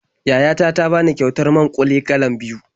Yaya ta ta bani kyautar man-ƙuli galan biyu.